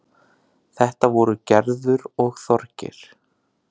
Þetta voru Gerður og Þorgeir.